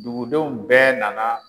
Dugudenw bɛɛ nana